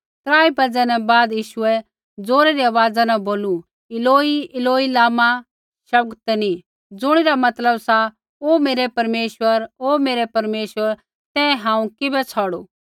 त्राई बाज़ै न बाद यीशुऐ ज़ोरै री आवाज़ा न बोलू इलोई इलोई लमा शबक्तनी ज़ुणिरा मतलब सा ओ मेरै परमेश्वर ओ मेरै परमेश्वर तैं हांऊँ किबै छ़ौड़ू